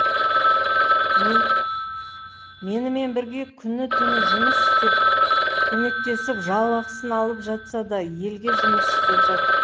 менімен бірге күні түні жұмыс істеп көмектесіп жалақысын алып жатса да елге жұмыс істеп жатыр